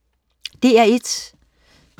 DR1: